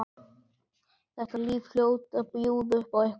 Þetta líf hlaut að bjóða upp á eitthvað annað.